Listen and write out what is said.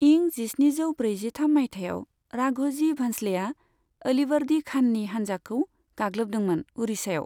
इं जिस्निजो ब्रैजिथाम माइथायाव, राघ'जि भंस्लेआ अ'लिवर्दि खाननि हानजाखौ गागलोबदोंमोन उड़िसायाव।